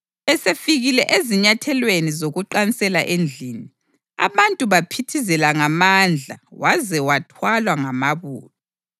Esefikile ezinyathelweni zokuqansela endlini, abantu baphithizela ngamandla waze wathwalwa ngamabutho.